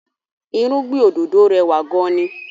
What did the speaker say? Irúgbìn òdòdó rẹwà gan-an ni